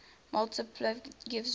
multiplicativity gives rise